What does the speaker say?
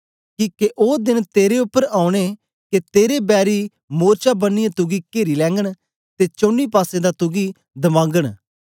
किके ओ देन तेरे उपर औने के तेरे बैरी मोर्चा बनियै तुगी केरी लैगन ते चौनी पासें दा तुगी दबागन